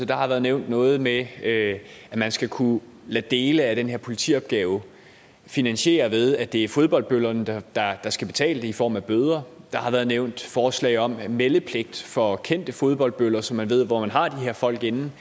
der har været nævnt noget med at man skal kunne lade dele af den her politiopgave finansiere ved at det er fodboldbøllerne der der skal betale i form af bøder der har været nævnt forslag om meldepligt for kendte fodboldbøller så man ved hvor man har de her folk inden